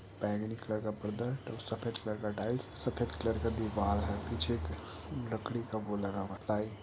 बेंगनी colour का पर्दा है और सफेद कलर का टाइल्स सफेद कलर का दिवाल है। पीछे एक लकड़ी का वो लगा हुआ है टाई।